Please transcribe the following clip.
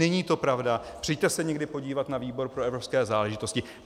Není to pravda, přijďte se někdy podívat na výbor pro evropské záležitosti.